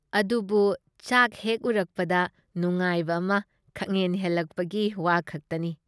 ꯑꯗꯨꯕꯨ ꯆꯥꯛ ꯍꯦꯛ ꯎꯔꯛꯄꯗ ꯅꯨꯉꯥꯏꯕ ꯑꯃ ꯈꯪꯍꯦꯟ ꯍꯦꯜꯂꯛꯄꯒꯤ ꯋꯥꯈꯛꯇꯅꯤ ꯫